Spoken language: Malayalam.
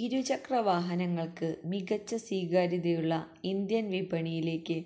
ഇരുചക്ര വാഹനങ്ങള്ക്ക് മികച്ച സ്വീകാര്യതയുള്ള ഇന്ത്യന് വിപണിയിലേക്ക്